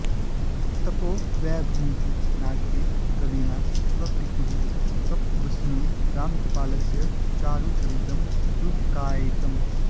तपोवैभवमिति नाटके कविना स्वपितुः तपस्विनो रामगोपालस्य चारुचरितं रूपकायितम्